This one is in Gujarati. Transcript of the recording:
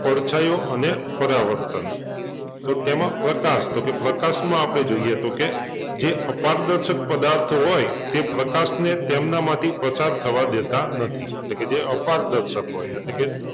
પડછાયો અને પરાવર્તન તો તેમાં પ્રકાશ તો કે પ્રકાશમાં આપડે જોઈએ તો કે જે અપારદર્શક પદાર્થ હોય તે પ્રકાશને તેમનામાંથી પસાર થવા દેતા નથી એટલે કે જે અપારદર્શક હોય એટલે કે